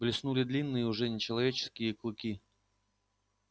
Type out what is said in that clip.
блеснули длинные уже нечеловеческие клыки